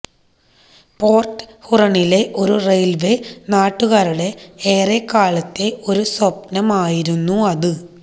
port ഹൂറണിലെ ഒരു railway നാട്ടുകാരുടെ ഏറെക്കാലത്തെ ഒരു സ്വപ്നമായിരുന്നു അത്